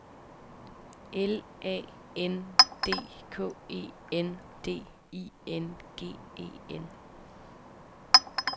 L A N D K E N D I N G E N